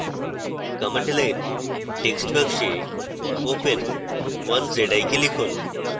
command line text box open 1zik লিখুন